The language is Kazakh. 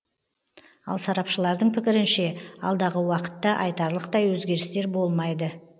ал сарапшылардың пікірінше алдағы уақытта айтарлықтай өзгерістер болмайды